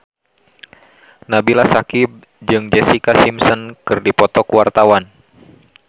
Nabila Syakieb jeung Jessica Simpson keur dipoto ku wartawan